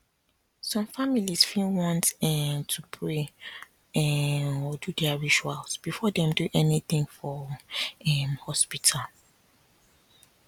some families fit want um to pray um or do their rituals before dem do anything for um hospital